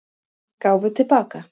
Gáfu til baka